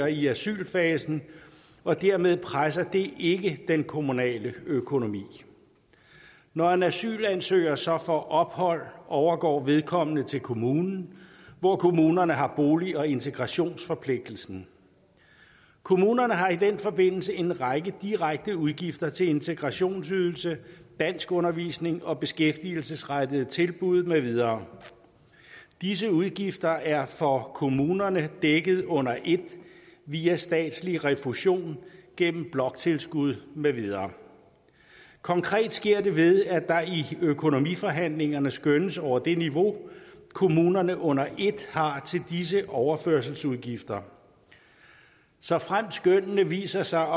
i asylfasen og dermed presser det ikke den kommunale økonomi når en asylansøger så får ophold overgår vedkommende til kommunen hvor kommunerne har bolig og integrationsforpligtelsen kommunerne har i den forbindelse en række direkte udgifter til integrationsydelse danskundervisning og beskæftigelsesrettede tilbud med videre disse udgifter er for kommunerne dækket under ét via statslig refusion gennem bloktilskud med videre konkret sker det ved at der i økonomiforhandlingerne skønnes over det niveau kommunerne under ét har til disse overførselsudgifter såfremt skønnene viser sig